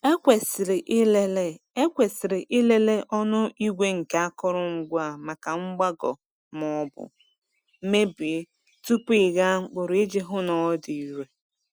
Ekwesịrị ịlele Ekwesịrị ịlele ọnụ igwe nke akụrụngwa a maka mgbagọ maọbụ mebie tupu ịgha mkpụrụ iji hụ na ọ dị irè.